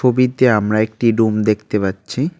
ছবিতে আমরা একটি রুম দেখতে পাচ্ছি।